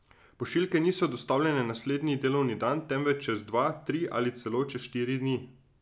Pošiljke niso dostavljene naslednji delovni dan, temveč čez dva, tri ali celo čez štiri dni.